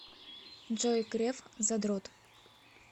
джой греф задрот